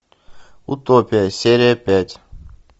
утопия серия пять